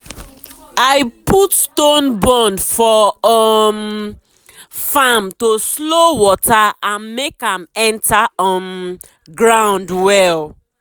i put stone bund for um farm to slow water and make am enter um ground well.